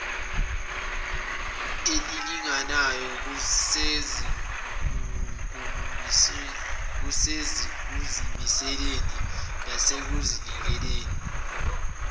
elilinganayo kusekuzimiseleni nasekuzinikeleni